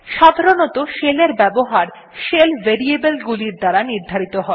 সাধারনতঃ শেলের এর ব্যবহার শেল ভেরিয়েবল গুলির দ্বারা নির্ধারিত হয়